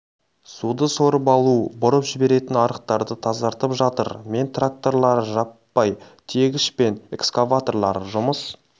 суды сорып алу бұрып жіберетін арықтарды тазартып жатыр мен тракторлары жаппай тиегіш пен экскаваторлары жұмыс